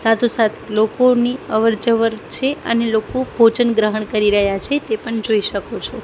સાથુ સાથ લોકોની અવર જવર છે અને લોકો ભોજન ગ્રહણ કરી રહ્યા છે તે પણ જોઈ શકો છો.